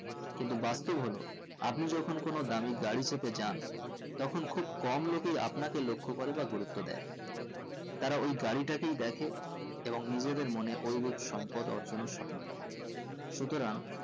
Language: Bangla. কিন্তু বাস্তব হলো আপনি যেকোন কোনো দামি গাড়ি চেপে যান তখন খুব কম লোকেই আপনাকে লক্ষ করে বা গুরুত্ব দেয় তারা ওই গাড়িটাকেই দেখে এবং নিজেদের মনে ওই রূপ সম্পদ অর্জনের স্বপ্ন দেখে সুতরাং